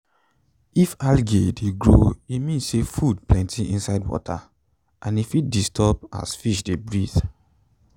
if algae de grow e mean say food plenty inside water and e fit de disturb as fish de breathe